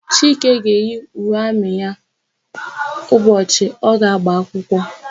Chike ga-eyi uwe amị ya n'ụbọchị ọ ga-agba akwụkwọ.